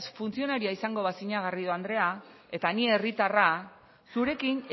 funtzionarioa izango bazina garrido andrea eta ni herritarra zurekin